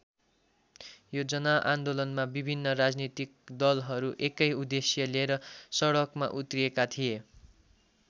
यो जनआन्दोलनमा विभिन्न राजनीतिक दलहरू एकै उद्देश्य लिएर सडकमा उत्रिएका थिए।